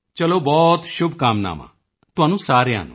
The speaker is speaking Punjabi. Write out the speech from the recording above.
ਚਲੋ ਬਹੁਤ ਸ਼ੁਭਕਾਮਨਾਵਾਂ ਤੁਹਾਨੂੰ ਸਾਰਿਆਂ ਨੂੰ